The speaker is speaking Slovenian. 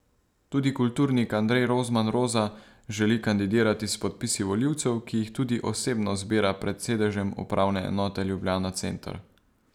Tudi kulturnik Andrej Rozman Roza želi kandidirati s podpisi volivcev, ki jih tudi osebno zbira pred sedežem upravne enote Ljubljana center.